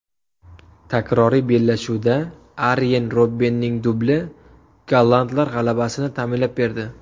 Takroriy bellashuvda Aryen Robbenning dubli gollandlar g‘alabasini ta’minlab berdi.